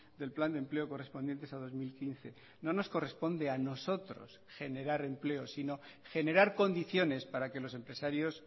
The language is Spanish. del plan de empleo correspondientes a dos mil quince no nos corresponde a nosotros generar empleo sino generar condiciones para que los empresarios